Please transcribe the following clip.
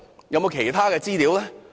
有沒有其他資料呢？